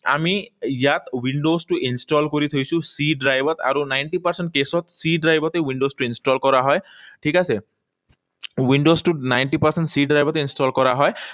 আমি ইয়াত windows টো install কৰি থৈছোঁ C drive ত আৰু ninety percent case ত, C drive তে windows টো install কৰা হয়। ঠিক আছে? Windows টো ninety percent C drive তে install কৰা হয়।